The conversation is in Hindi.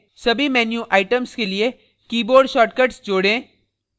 सभी menu items के लिए keyboard shortcuts जोड़ें